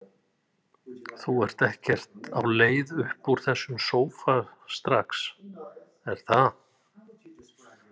Þú ert ekkert á leið upp úr þessum sófa strax, er það?